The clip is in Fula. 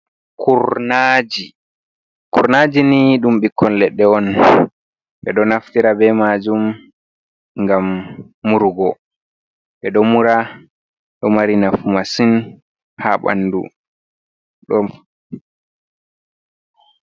Kurnaaji. Kurmaajini ɗum ɓikkon leɗɗe on, ɓe ɗo naftira be maajum ngam murugo, ɓeɗo mura, ɗo mari nafu masin ha ɓandu ɗo